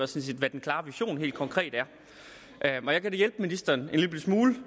set hvad den klare vision helt konkret er og jeg kan da hjælpe ministeren